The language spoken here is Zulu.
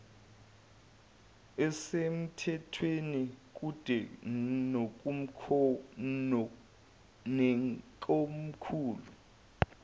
esemthethweni kude nekomkhulu